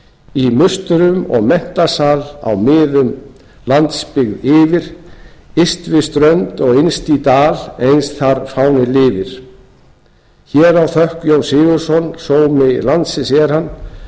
í musterum og menntasal á miðum landsbyggð yfir yst við strönd og innst í dal eins þar fáninn lifir hér á þökk jón sigurðsson sómi landsins er hann